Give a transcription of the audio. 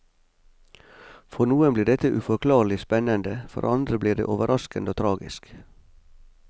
For noen blir dette uforklarlig spennende, for andre blir det overraskende og tragisk.